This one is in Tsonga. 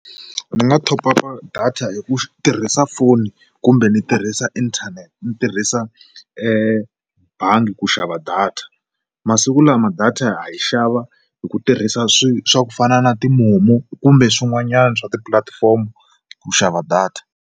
Ndzi nga thopapa data hi ku tirhisa foni kumbe ni tirhisa inthanete ni tirhisa ebangi ku xava data, masiku lama data yi xava hi ku tirhisa swi swa ku fana na ti-MoMo kumbe swin'wanyana swa tipulatifomo ku xava data.